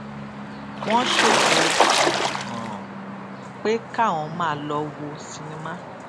wón ṣètò um pé káwọn máa lọ wo sinimá